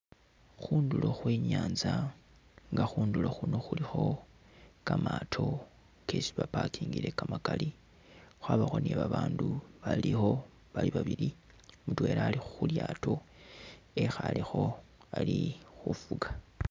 Khundulo khwe nyanza nga khundulo khuno khulikho kamaato kesi ba'parkingile kamakaali khwabakho ni'babaandu balikho bali babili mutwela ali khu'lyaato wekhalekho ali khufuka